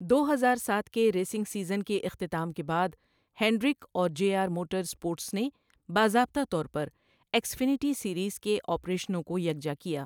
دو ہزار سات کے ریسنگ سیزن کے اختتام کے بعد، ہینڈرک اور جے آر موٹراسپورٹس نے باضابطہ طور پر ایکس فنیتی سیریز کے آپریشنوں کو یکجا کیا۔